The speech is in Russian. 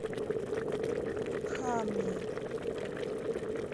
хами